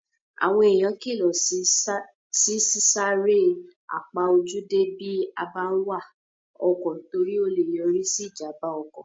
Àwọn èèyàn kílọ̀ sí sá eré àpaójúdé bí a bá n wa ọkọ̀ torí o lè yọrí sí ìjàmbá ọkọ̀